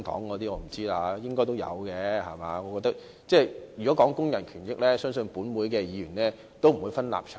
我覺得如果談及工人權益，相信本會的議員不會分立場。